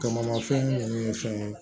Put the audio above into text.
Kamamafɛn ninnu ye fɛn ye